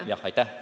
Aitäh!